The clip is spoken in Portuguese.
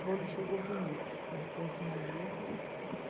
O bolo chegou bonito, ele pôs na mesa.